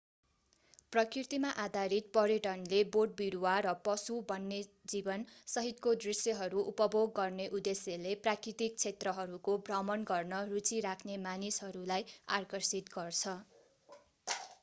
प्रकृतिमा आधारित पर्यटनले बोटबिरुवा र पशु वन्यजीवन सहितको दृश्यहरू उपभोग गर्ने उद्देश्यले प्राकृतिक क्षेत्रहरूको भ्रमण गर्न रुचि राख्ने मानिसहरूलाई आकर्षित गर्छ